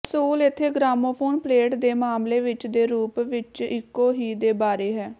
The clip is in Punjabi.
ਅਸੂਲ ਇੱਥੇ ਗ੍ਰਾਮੋਫੋਨ ਪਲੇਟ ਦੇ ਮਾਮਲੇ ਵਿੱਚ ਦੇ ਰੂਪ ਵਿੱਚ ਇੱਕੋ ਹੀ ਦੇ ਬਾਰੇ ਹੈ